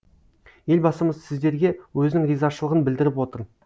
елбасымыз сіздерге өзінің ризашылығын білдіріп отыр